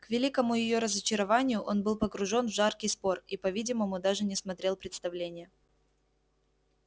к великому её разочарованию он был погружен в жаркий спор и по-видимому даже не смотрел представления